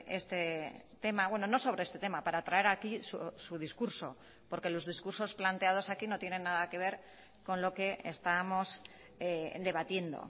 este tema bueno no sobre este tema para traer aquí su discurso porque los discursos planteados aquí no tienen nada que ver con lo que estábamos debatiendo